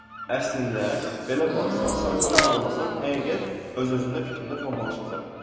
Əslində belə baxsan, saxtanı anlasan, həqiqət öz-özündə fikrində formalaşacaq.